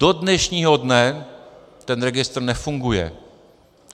Do dnešního dne ten registr nefunguje.